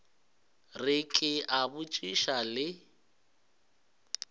re ke a botšiša le